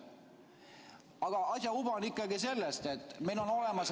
Aga asja uba on ikkagi selles, et meil on olemas ...